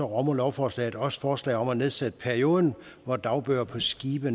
rummer lovforslaget også forslag om at nedsætte perioden hvor dagbøger på skibe